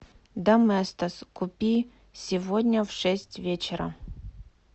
доместос купи сегодня в шесть вечера